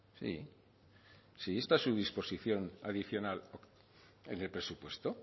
sí sí esta es su disposición adicional en el presupuesto